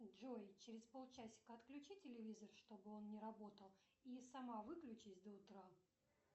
джой через пол часика отключи телевизор чтобы он не работал и сама выключись до утра